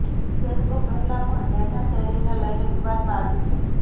Facebook પહેલા પણ data શેરિંગને લઇને વિવાદમાં આવી છે